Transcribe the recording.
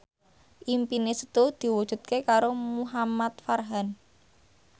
impine Setu diwujudke karo Muhamad Farhan